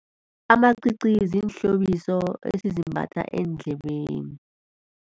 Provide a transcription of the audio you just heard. Amacici ziinhlobiso esizimbatha eendlebeni.